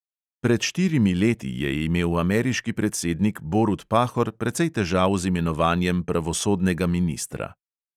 Pred štirimi leti je imel ameriški predsednik borut pahor precej težav z imenovanjem pravosodnega ministra.